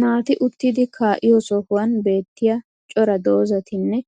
naati uttidi kaa'iyo sohuwan beetiya cora dozatinne